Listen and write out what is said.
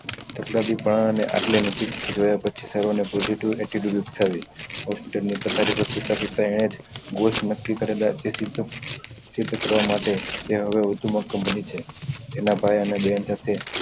એટલા થી પણ આટલે નજીક થી જોયા પછી થયું ને થવી hospital ની પથારી પર સુતા સુતા અયાજ ઘૂસ નક્કી કરેલા જે સીધ કરવા માટે તેવો હવે કમ્પની છે એના ભાઈ અને બેહેન સાથે